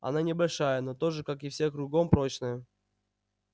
она небольшая но тоже как и все кругом прочная